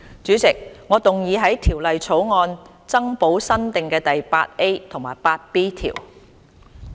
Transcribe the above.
主席，我動議在條例草案增補新訂的第 8A 及 8B 條。